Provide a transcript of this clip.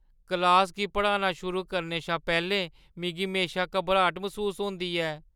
क्लासा गी पढ़ाना शुरू करने शा पैह्‌लें मिगी म्हेशा घबराट मसूस होंदी ऐ।